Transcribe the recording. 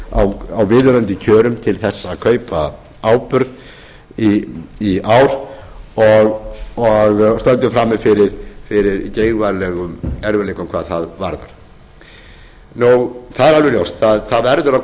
á viðunandi kjörum til þess að kaupa áburð í ár og stöndum frammi fyrir geigvænlegum erfiðleikum hvað það varðar það er alveg ljóst að það verður að